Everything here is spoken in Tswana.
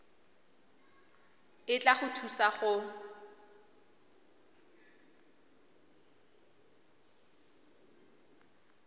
e tla go thusa go